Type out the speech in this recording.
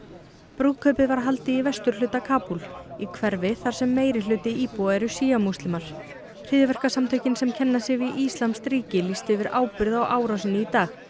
brúðkaupið var haldið í vesturhluta Kabúl í hverfi þar sem meirihluti íbúa eru múslimar hryðjuverkasamtökin sem kenna sig við íslamskt ríki lýstu yfir ábyrgð á árásinni í dag